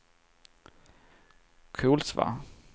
Kolsva